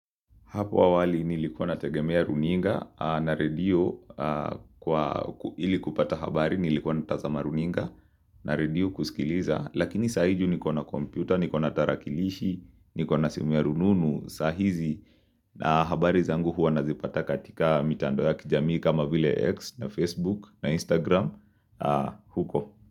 Hapo awali nilikona tegemea runinga na radio kwa ilikupata habari nilikona tazama runinga na radio kusikiliza. Lakini sahiiju nikona kompyuta, nikona tarakilishi, nikona simu ya rununu, sahizi na habari zangu huwa nazipata katika mitando ya kijamii kama vile X na Facebook na Instagram huko.